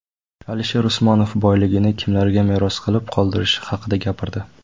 Alisher Usmonov boyligini kimlarga meros qilib qoldirishi haqida gapirdi.